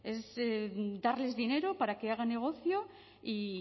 es darles dinero para que hagan negocio y